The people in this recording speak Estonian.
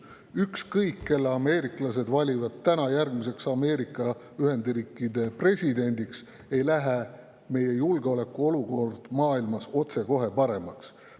Ükskõik kelle ameeriklased valivad täna järgmiseks Ameerika Ühendriikide presidendiks, julgeolekuolukord maailmas ei lähe otsekohe paremaks.